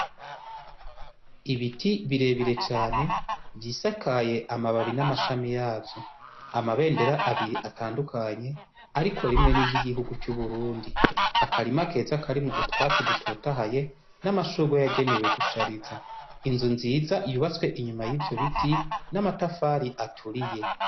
Ibiti birebire cane vyisakaye amababi n’amashami yavyo, amabendera abiri atandukanye ariko rimwe ni ry’igihugu c’Uburundi. Akarima keza karimwo utwatsi dutotahaye n’amashurwe yagenewe gushariza inzu nziza yubatswe inyuma yivyo biti n’amatafari aturiye.